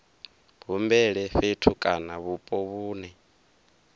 humbele fhethu kana vhupo vhune